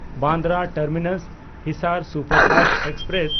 Bandra ᱴᱟᱨᱢᱤᱱᱟᱥ–ᱦᱤᱥᱟᱨ superfast express